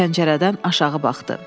Pəncərədən aşağı baxdı.